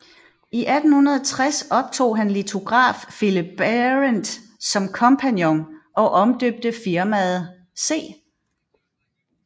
I 1860 optog han litograf Philip Berendt som kompagnon og omdøbte firmaet C